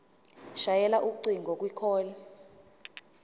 shayela ucingo kwicall